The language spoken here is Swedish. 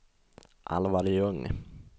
Alvar Ljung